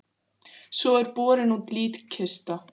Svo er borin út líkkista.